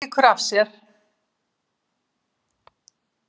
Lýkur sér af.